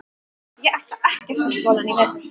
Ég ætla ekkert í skólann í vetur.